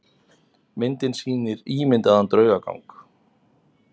Myndin sýnir ímyndaðan draugagang.